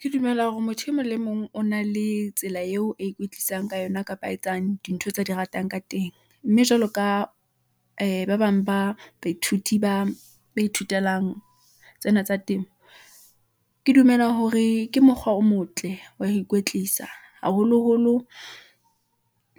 Ke dumela hore motho e mong le mong o na le tsela eo a ikwetlisang ka yona, kapa a etsang dintho tsa di ratang ka teng . Mme jwalo ka ee ba bang ba baithuti ba ithutelang tsena tsa temo . Ke dumela hore ke mokgwa o motle, wa ikwetlisa haholoholo ,